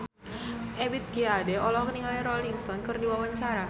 Ebith G. Ade olohok ningali Rolling Stone keur diwawancara